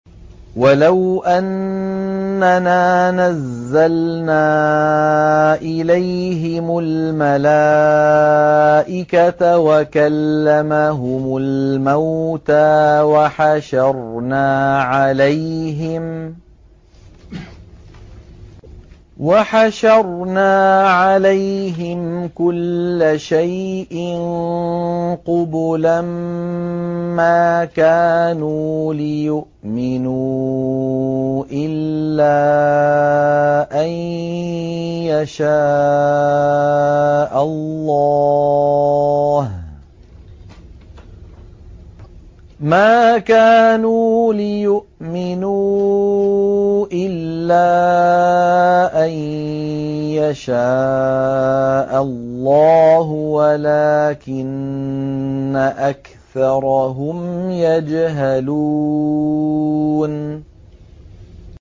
۞ وَلَوْ أَنَّنَا نَزَّلْنَا إِلَيْهِمُ الْمَلَائِكَةَ وَكَلَّمَهُمُ الْمَوْتَىٰ وَحَشَرْنَا عَلَيْهِمْ كُلَّ شَيْءٍ قُبُلًا مَّا كَانُوا لِيُؤْمِنُوا إِلَّا أَن يَشَاءَ اللَّهُ وَلَٰكِنَّ أَكْثَرَهُمْ يَجْهَلُونَ